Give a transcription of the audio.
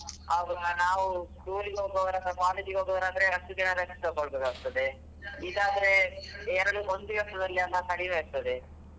ಆವಾಗ ನಾವು tour ಗೆ ಹೋಗುವವ್ರು ಆದ್ರೆ college ಗೆ ಹೋಗುವವ್ರು ಆದ್ರೆ ಹತ್ತು ದಿನ rest ತಗೋಳ್ಬೇಕಾಗ್ತದೆ ಇದ್ ಆದ್ರೆ ಎರಡ್ ಒಂದು ದಿವಸದಲ್ಲಿ ಎಲ್ಲ ಕಡಿಮೆ ಆಗ್ತದೆ.